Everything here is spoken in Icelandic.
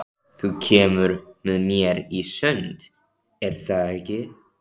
Þú kemur með mér í sund, er það ekki?